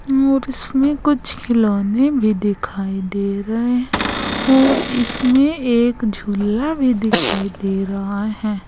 और इसमें कुछ खिलौने भी दिखाई दे रहे हैं और इसमें एक झूला भी दिखाई दे रहा है।